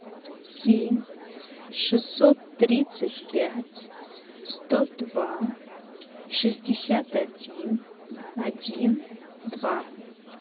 семь шестьсот тридцать пять сто два шестьдесят один один два